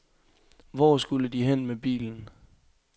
Hvor skulle de hen med bilen?